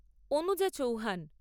Anuja Chauhan